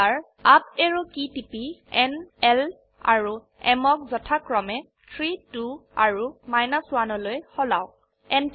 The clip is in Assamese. আকৌ এবাৰ আপ অ্যাৰো কী টিপি ন l আৰু m ক যথাক্ৰমে 3 2 আৰু 1লৈ সলাওক